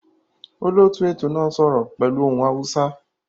Olóòtú ètò náà n sọ́rọ́ pẹ́lu ohun Hausa